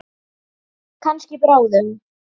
Kannski bráðum.